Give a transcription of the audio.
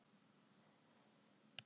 Pétur